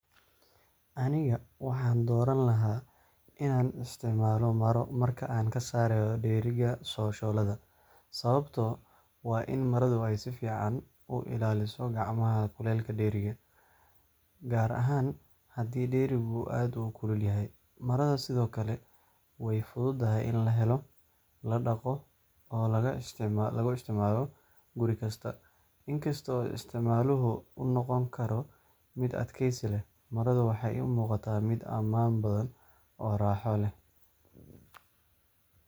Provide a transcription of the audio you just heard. Aniga waxaan dooran lahaa inaan isticmaalo maro marka aan ka saarayo dheriga shooladda. Sababtu waa in maradu ay si fiican u ilaaliso gacmaha kulaylka dheriga, gaar ahaan haddii dherigu aad u kulul yahay. Marada sidoo kale way fududahay in la helo, la dhaqdo, oo laga isticmaalo guri kasta. Inkasta oo isticmaaluhu uu noqon karo mid adkeysi leh, maradu waxay ii muuqataa mid ammaan badan oo raaxo leh.